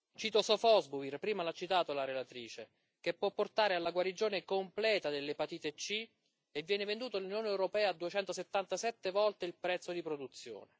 Cito Sofosbuvir, prima l'ha citato la relatrice, che può portare alla guarigione completa dall'epatite C e che viene venduto nell'Unione europea a 277 volte il prezzo di produzione